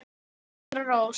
Dóttir Helgu er Sandra Rós.